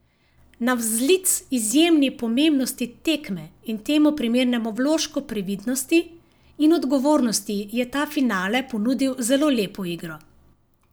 Navzlic izjemni pomembnosti tekme in temu primernemu vložku previdnosti in odgovornosti je ta finale ponudil zelo lepo igro.